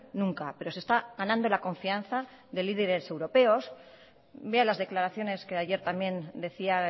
nunca pero se está ganando la confianza de líderes europeos vea las declaraciones que ayer también decía